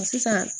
Sisan